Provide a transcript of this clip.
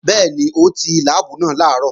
Bẹ́ẹ̀ni, ó ti láàbù náà làárọ̀